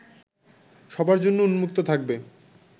সবার জন্য উন্মুক্ত থাকবে